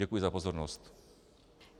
Děkuji za pozornost.